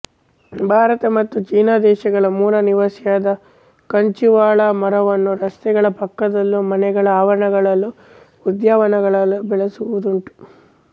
ಭಾರತ ಮತ್ತು ಚೀನದೇಶಗಳ ಮೂಲನಿವಾಸಿಯಾದ ಕಂಚುವಾಳ ಮರವನ್ನು ರಸ್ತೆಗಳ ಪಕ್ಕದಲ್ಲೂ ಮನೆಗಳ ಆವರಣಗಳಲ್ಲೂ ಉದ್ಯಾನವನಗಳಲ್ಲೂ ಬೆಳೆಸುವುದುಂಟು